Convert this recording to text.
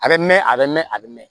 A bɛ mɛn a bɛ mɛn a bɛ mɛn